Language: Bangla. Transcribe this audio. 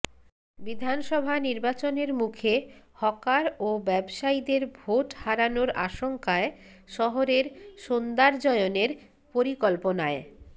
বিধানসভা নির্বাচনের মুখে হকার ও ব্যবসায়ীদের ভোট হারানোর আশঙ্কায় শহরের সৌন্দর্যায়নের পরিকল্পনায়